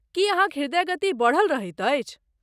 की अहाँक ह्रदय गति बढ़ल रहैत अछि?